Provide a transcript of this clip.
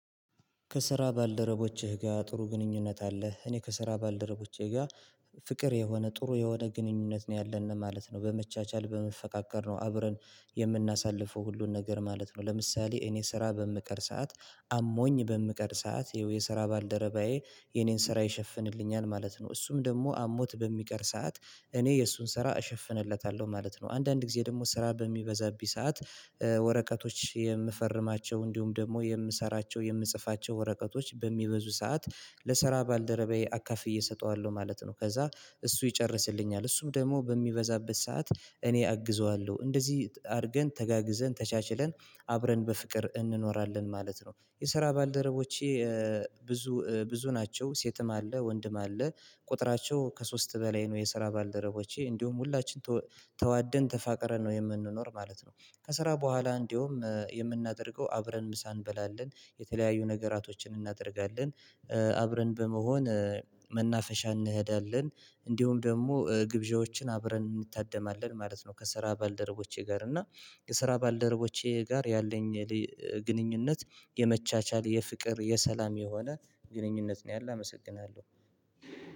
ከስራ ባልደረቦቼ ጋር ጥሩ ግንኙነት አለህ? እኔ ከስራ ባልደረቦቼ ጋር ፍቅር የሆነ ጥሩ የሆነ ግንኙነት ነው ያለን ማለት ነው። በመቻቻል በመፈቃቀር ነው አብረን የምናሳልፈው ሁሉን ነገር ማለት ነው። ለምሳሌ እኔ ስራ በምቀር ሰዓት አሞኝ በምቀር ሰዓት ይኸው የስራ ባልደረባዬ የኔን ስራ ይሸፍንልኛል ማለት ነው። እሱም ደግሞ አሞት በሚቀር ሰዓት እኔ የእሱን ስራ እሸፍንለታለሁ ማለት ነው። አንዳንድ ጊዜ ደግሞ ስራ በሚበዛብኝ ሰዓት ወረቀቶች የምፈርማቸው እንዲሁም ደግሞ የምሰራቸው የምጽፋቸው ወረቀቶች በሚበዙ ሰዓት ለሰራ ባልደረባዬ አካፍዬ እሰጠዋለሁ ማለት ነው። ከዛ እሱ ይጨርስልኛል እሱም ደግሞ በሚበዛበት ሰዓት እኔ አግዘዋለሁ እንደዚህ አድርገን ተጋግዘን ተቻችለን አብረን በፍቅር እንኖራለን ማለት ነው። የስራ ባልደረቦቼ ብዙ ብዙ ናቸው ሴትም አለ ወንድም አለ ቁጥራቸው ከሶስት በላይ ነው የስራ ባልደረቦቼ እንዲሁም ሁላችን ተዋደን ተፋቅረን ነው የምንኖር ማለት ነው። ከስራ በኋላ እንዲሁም የምናደርገው አብረን ምሳ እንበላለን የተለያዩ ነገራቶችን እናደርጋለን አብረን በመሆን መናፈሻ እንሄዳለን እንዲሁም ደግሞ ግብዣዎችን አብረን እንታደማለን ማለት ነው። ከስራ ባልደረቦቼ ጋር እና ከስራ ባልደረቦቼ ጋር ያለኝ ግንኙነት የመቻቻል የፍቅር የሰላም የሆነ ግንኙነት ነው ያለው አመሰግናለሁ።